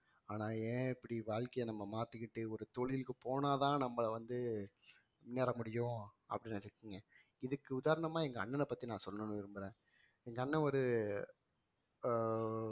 ஆனா ஏன் இப்படி வாழ்க்கைய நம்ம மாத்திக்கிட்டு ஒரு தொழிலுக்கு போனா தான் நம்மள வந்து முன்னேற முடியும் அப்படின்னு இதுக்கு உதாரணமா எங்க அண்ணனை பத்தி நான் சொல்லணும்னு விரும்புறேன் எங்க அண்ணன் ஒரு ஆஹ்